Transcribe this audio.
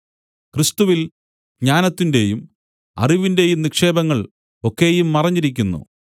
ക്രിസ്തുവില്‍ ജ്ഞാനത്തിന്റെയും അറിവിന്റേയും നിക്ഷേപങ്ങൾ ഒക്കെയും മറഞ്ഞിരിക്കുന്നു